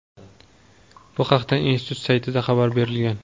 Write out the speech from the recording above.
Bu haqda institut saytida xabar berilgan.